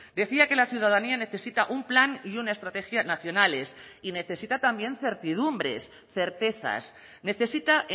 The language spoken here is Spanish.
decía que la ciudadanía necesita un plan y una estrategia nacionales y necesita también certidumbres certezas necesita